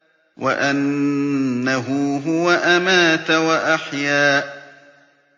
وَأَنَّهُ هُوَ أَمَاتَ وَأَحْيَا